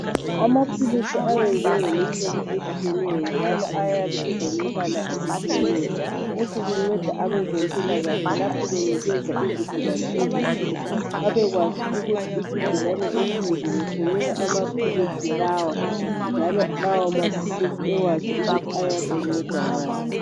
Amaphilisi ayenzwe ngemihlobo etshiyeneyo njalo ayabe elemibala etshiyeneyo lokhu kunceda abezempilakahle lapho benikeza izigulane ezithile babekwazi ukuthi isigulane esinje ngisinika amaphilisi lawa njalo lawo maphilisi ewazi ukuthi ayabe anceda ngani.